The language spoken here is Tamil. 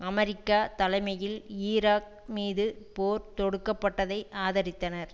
அமெரிக்கா தலைமையில் ஈராக் மீது போர் தொடுக்கப்பட்டதை ஆதரித்தனர்